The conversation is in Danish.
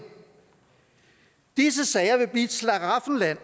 disse sager vil blive et slaraffenland